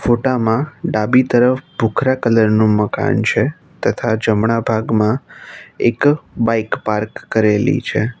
ફોટામાં ડાબી તરફ બુકરા કલર નું મકાન છે તથા જમણા ભાગમાં એક બાઈક પાર્ક કરેલી છે.